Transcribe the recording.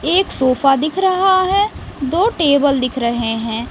एक सोफा दिख रहा है दो टेबल दिख रहे हैं।